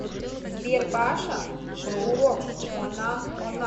сбер паша проурок она она